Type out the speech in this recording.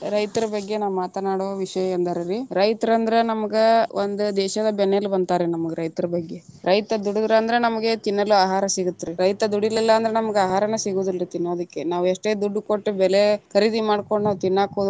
ರೈತರ ಬಗ್ಗೆ ನಾ ಮಾತನಾಡುವ ವಿಷಯ ಎಂದರೆ ರೀ, ರೈತರಂದ್ರ ನಮ್ಗ ಒಂದ ದೇಶದ ಬೆನ್ನೆಲಬು ಅಂತಾರ ರೀ ರೈತರ ಬಗ್ಗೆ, ರೈತ ದುಡುದ್ರಂದ್ರ ನಮಗ ತಿನ್ನಲು ಆಹಾರ ಸಿಗತ್ತ ರೀ ರೈತ ದುಡಿಲಿಲ್ಲಾ ಅಂದ್ರ ನಮಗ ಆಹಾರನ ಸಿಗುದಿಲ್ಲಾ ತಿನ್ನೋದಕ್ಕೆ ನಾವು ಎಷ್ಟೇ ದುಡ್ಡು ಕೊಟ್ಟ ಬೆಲೆ ಖರೀದಿ ಮಾಡ್ಕೊಂಡ ತಿನ್ನಾಕ ಹೋದ್ರು.